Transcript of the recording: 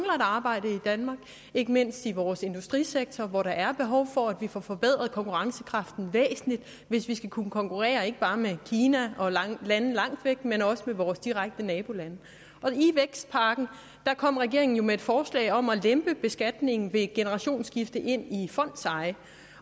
arbejde i danmark ikke mindst i vores industrisektor hvor der er behov for at vi får forbedret konkurrencekraften væsentligt hvis vi skal kunne konkurrere ikke bare med kina og landene langt væk men også med vores direkte nabolande i vækstpakken kom regeringen jo med et forslag om at lempe beskatningen ved et generationsskifte ind i fondseje